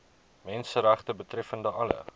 menseregte betreffende alle